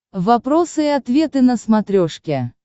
вопросы и ответы на смотрешке